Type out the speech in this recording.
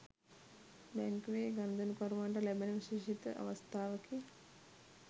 බැංකුවේ ගනුදෙනුකරුවන්ට ලැබෙන විශේෂිත අවස්ථාවකි.